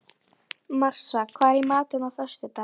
Marsa, hvað er í matinn á föstudaginn?